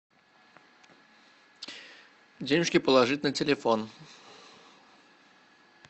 денежки положить на телефон